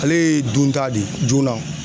Ale ye dunta de ye joona.